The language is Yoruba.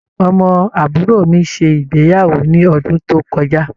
Ọmọ àbúrò mi ṣe ìgbéyàwó ní ọdún tó kọjá.